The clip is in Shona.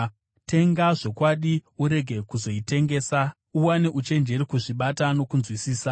Tenga zvokwadi urege kuzoitengesa; uwane uchenjeri, kuzvibata nokunzwisisa.